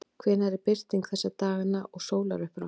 hvenær er birting þessa dagana og sólarupprás